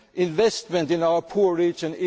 only way to get investment in their